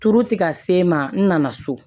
Turu tɛ ka se n ma n nana so